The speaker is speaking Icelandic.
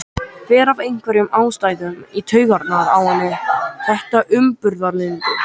Fer af einhverjum ástæðum í taugarnar á henni þetta umburðarlyndi.